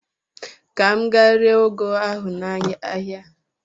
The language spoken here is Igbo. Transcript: Ka m gaa ree ụgụ ahụ n'ahịa.